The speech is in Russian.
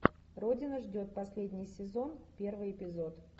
родина ждет последний сезон первый эпизод